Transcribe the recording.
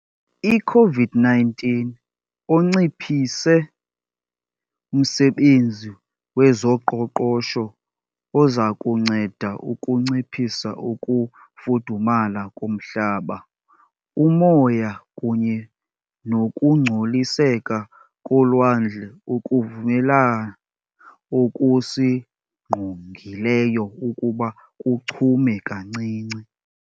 i-COVID-19 onciphise umsebenzi wezoqoqosho ozakunceda ukunciphisa ukufudumala komhlaba, umoya kunye nokungcoliseka kolwandle, ukuvumela okusingqongileyo ukuba kuchume kancinci.